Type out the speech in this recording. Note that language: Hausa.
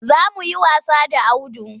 Za mu yi wasa da Audu.